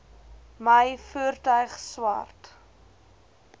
my voertuig swart